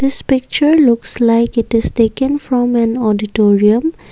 this picture looks like it is taken from an auditorium.